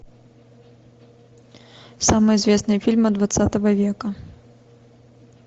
самые известные фильмы двадцатого века